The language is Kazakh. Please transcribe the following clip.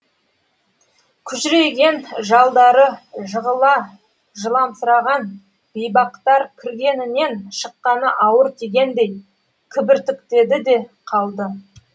күжірейген жалдары жығыла жыламсыраған бейбақтар кіргенінен шыққаны ауыр тигендей кібіртіктеді де қалды